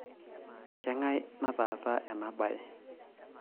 Kengai nataasa ena baye?